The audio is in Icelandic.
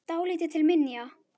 Dálítið til minja.